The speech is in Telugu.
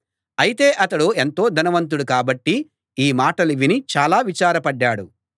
అయితే అతడు ఎంతో ధనవంతుడు కాబట్టి ఈ మాటలు విని చాలా విచారపడ్డాడు